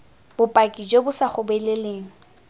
bopaki jo bo sa gobeleleng